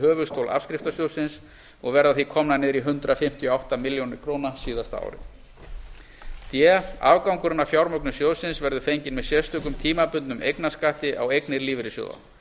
höfuðstól afskriftasjóðsins og verða því komnar niður hundrað fimmtíu og átta milljónir króna síðasta árið d afgangurinn af fjármögnun sjóðsins verður fengin með sérstökum tímabundnum eignarskatti á eignir lífeyrissjóða